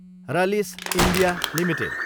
Rallis India Ltd